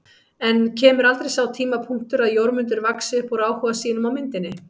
En kemur aldrei sá tímapunktur að Jórmundur vaxi upp úr áhuga sínum á myndinni?